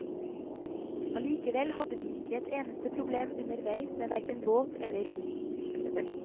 Allikevel hadde vi ikke et eneste problem underveis med hverken båt eller rom.